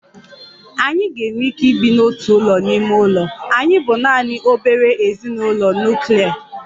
Anyị ga-enwe ike ibi n'otu ụlọ ime ụlọ, anyị bụ naanị obere ezinụlọ nuklia